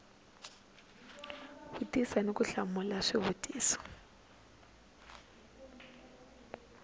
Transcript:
vutisa ni ku hlamula swivutiso